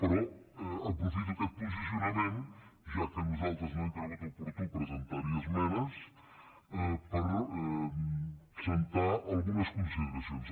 però aprofito aquest posicionament ja que nosaltres no hem cregut oportú presentar hi esmenes per establir algunes consideracions